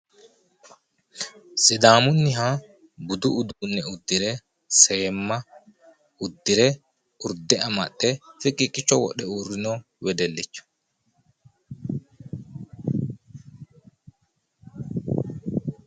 sidaamunniha budu uduunne uddire seemma uddire, urde amaxxe fiqiiqicho wodhe uurrino wedellicho.